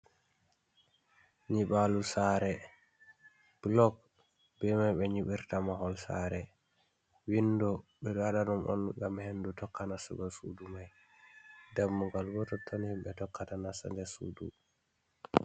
Nyibalo sare bulog be mai ɓe nyibirta mahol sare, windo ɓe ɗo waɗa ɗum on ngam hendu tokka nassugo sudu mai, dammugal bo tonton himɓe tokkata nasa der sudu.